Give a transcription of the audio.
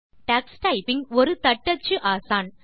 Tux typing ஒரு தட்டச்சு ஆசான்